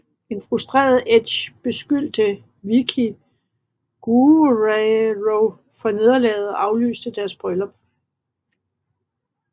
En frustreret Edge beskyldte Vickie Guerrero for nederlaget og aflyste deres bryllup